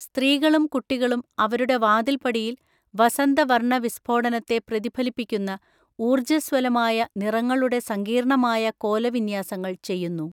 സ്ത്രീകളും കുട്ടികളും അവരുടെ വാതിൽപ്പടിയിൽ വസന്തവര്‍ണ്ണവിസ്ഫോടനത്തെ പ്രതിഫലിപ്പിക്കുന്ന ഊർജ്ജസ്വലമായ നിറങ്ങളുടെ സങ്കീർണ്ണമായ കോലവിന്യാസങ്ങള്‍ ചെയ്യുന്നു.